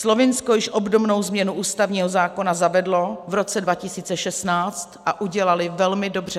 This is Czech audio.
Slovinsko již obdobnou změnu ústavního zákona zavedlo v roce 2016 a udělali velmi dobře.